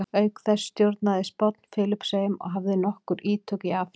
auk þessa stjórnaði spánn filippseyjum og hafði nokkur ítök í afríku